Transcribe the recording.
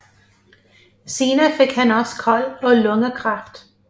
Senere fik han også KOL og lungekræft